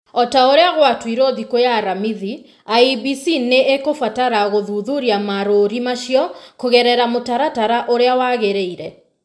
O ta ũrĩa gwatuirwo thikũ ya aramithi , IEBC nĩ ĩkũbatara gũthuthuria marũũri macio kũgerera mũtaratara ũrĩa wagĩrĩire.